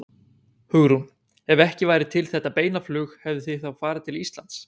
Hugrún: Ef ekki væri þetta beina flug hefðuð þið þá farið til Íslands?